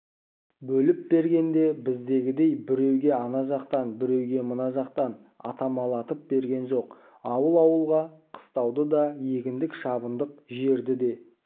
бөліп бергенде біздегідей біреуге ана жақтан біреуге мына жақтан аттамалатып берген жоқ ауыл-ауылға қыстауды да егіндік-шабындық жерді де